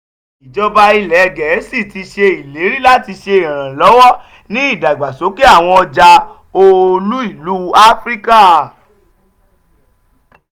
ijọba ilẹ gẹẹsi ti ṣe ileri lati ṣe iranlọwọ ni idagbasoke awọn ọja olu-ilu afirika.